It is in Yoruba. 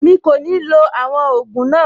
Mi kò ní lo àwọn ògùn náà.